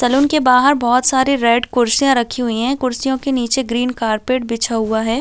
Salon के बाहर बहोत सारी रेड कुर्सियां राखी हुई है कुर्सियों के नीचे ग्रीन कारपेट बिछा हुआ है।